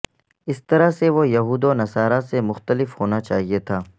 اس طرح سے وہ یہود و نصاری سے مختلف ہونا چاہیئے تھا